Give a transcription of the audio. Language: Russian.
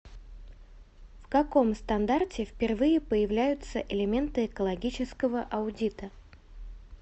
в каком стандарте впервые появляются элементы экологического аудита